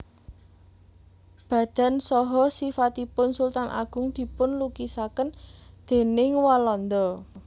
Badan saha sifatipun Sultan Agung dipun lukisaken déning Walanda